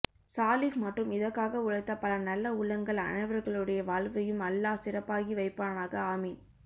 சாலிஹ் மற்றும் இதற்காக உழைத்த பல நல்ல உள்ளங்கள் அனைவர்களுடைய வாழ்வையும் அல்லா சிறப்பாகி வைப்பானாக ஆமீன்